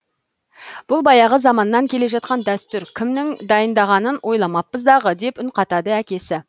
бұл баяғы заманнан келе жатқан дәстүр кімнің дайындағанын ойламаппыз дағы деп үн қатады әкесі